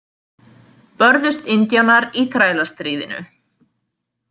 Börðust indjánar í Þrælastríðinu.